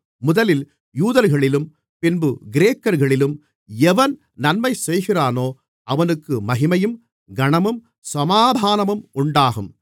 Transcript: முதலில் யூதர்களிலும் பின்பு கிரேக்கர்களிலும் எவன் நன்மைசெய்கிறானோ அவனுக்கு மகிமையும் கனமும் சமாதானமும் உண்டாகும்